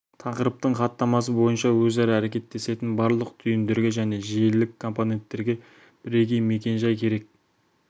тақырыптың хаттамасы бойынша өзара әрекеттесетін барлық түйіндерге және желілік компонентерге бірегей мекен-жай керек